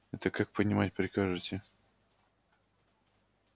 это как понимать прикажете